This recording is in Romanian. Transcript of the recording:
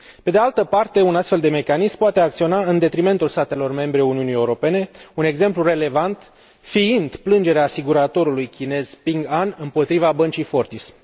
Pe de altă parte, un astfel de mecanism poate acționa în detrimentul statelor membre ale Uniunii Europene, un exemplu relevant fiind plângerea asiguratorului chinez Ping An împotriva băncii Fortis.